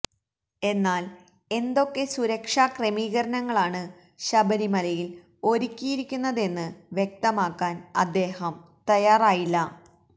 എന്നാല് എന്തൊക്കെ സുരക്ഷാ ക്രമീകരണങ്ങളാണ് ശബരിമലയില് ഒരുക്കിയിരിക്കുന്നതെന്ന് വ്യക്തമാക്കാന് അദ്ദേഹം തയ്യാറായില്ല